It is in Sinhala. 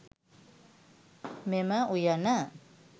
මෙම උයන